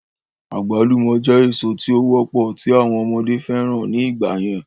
Àgbálùmọ̀ jẹ́ èso tí ó wọ́pọ̀ tí àwọn ọmọdé fẹ́ràn ní ìgbà yẹn